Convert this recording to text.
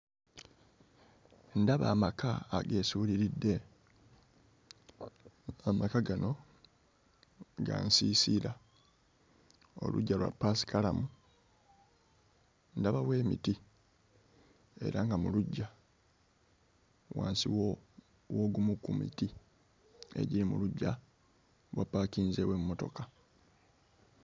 Ndaba amaka ageesuuliridde, amaka gano ga nsiisira, oluggya lwa paasikalamu, ndaba wo emiti era nga mu luggya wansi wo w'ogumu ku miti egiri mu luggya wapaakinzeewo emmotoka.